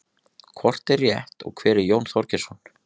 hvort er rétt og hver er jón þorgeirsson